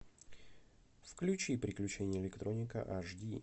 включи приключения электроника аш ди